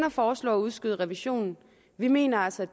at foreslå at udskyde revisionen vi mener altså